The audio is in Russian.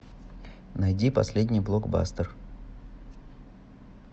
найди последний блокбастер